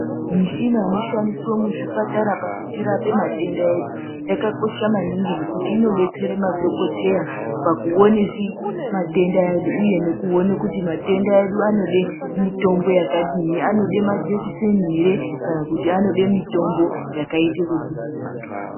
Mishina inoshandiswa muzvipatara pakutirapa matenda edu yakakosha maningi ngekuti inodetsera madhokoteya pakuona matenda edu uye nokuona kuti matenda edu anoda mitombo yakadii, anoda majekiseni ere kana kuti anoda mutombo wakadii.